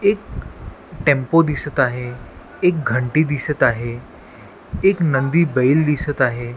एक टेम्पो दिसत आहे एक घंटी दिसत आहे एक नंदी बैल दिसत आहे.